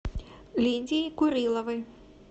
лидии куриловой